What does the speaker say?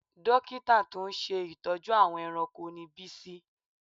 Dókítà tó ń ṣe ìtọ́jú àwọn ẹranko ni Bísí